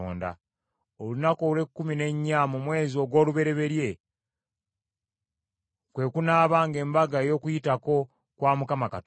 “Olunaku olw’ekkumi n’ennya mu mwezi ogw’olubereberye kwe kunaabanga Embaga ey’Okuyitako kwa Mukama Katonda.